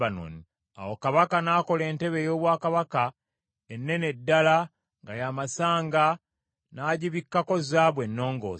Awo kabaka n’akola entebe ey’obwakabaka ennene ddala nga ya masanga n’agibikkako zaabu ennongoose.